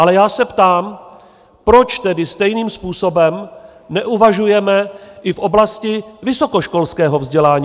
Ale já se ptám, proč tedy stejným způsobem neuvažujeme i v oblasti vysokoškolského vzdělání.